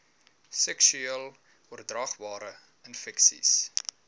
seksueel oordraagbare infeksies